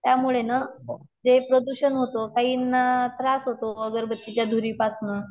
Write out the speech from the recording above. त्यामुळेना जे प्रदूषण होते काहीना त्रास होतो अगरबत्तीच्या धुरापासन